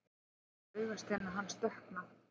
Ég sé augasteina hans dökkna.